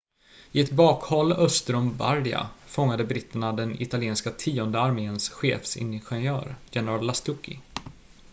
i ett bakhåll öster om bardia fångade britterna den italienska tionde arméns chefsingenjör general lastucci